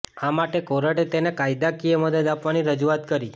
આ માટે કોર્ટે તેને કાયદાકીય મદદ આપવાની રજૂઆત કરી